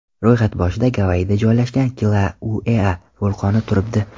Ro‘yxat boshida Gavayida joylashgan Kilauea vulqoni turibdi.